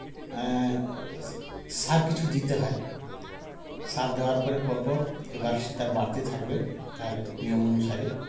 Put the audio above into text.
এ সার কিছু দিতে হয় সার দেওয়ার পরে পরপর এবার সেটার বাড়তে থাকবে তার নিয়ম অনুসারে